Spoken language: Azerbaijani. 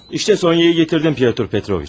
İşdə Sonyanı gətirdim Pyotr Petroviç.